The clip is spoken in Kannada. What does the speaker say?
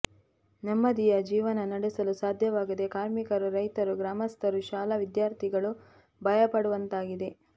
ನೆಮ್ಮದಿಯ ಜೀವನ ನಡೆಸಲು ಸಾಧ್ಯವಾಗದೆ ಕಾರ್ಮಿಕರು ರೈತರು ಗ್ರಾಮಸ್ಥರು ಶಾಲಾ ವಿದ್ಯಾರ್ಥಿಗಳು ಭಯಪಡುವಂತಾಗಿದೆ